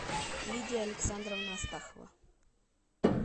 лидия александровна астахова